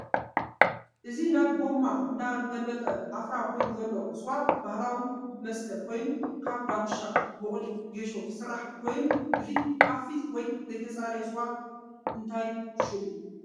እዚ ናብ ጎማ እናገልብጣ ዓፍራ ኮይኑ ዘሎ ስዋ ባህላዊ ምስተ ኮይኑ ካብ ዳጉሻ ፣ ቡቅሊ ፣ ጌሾ ዝስራሕ ኮይኑ እዚ ሓፊስ ወይ ዘይፀረየ ስዋ እንታይ ሽሙ?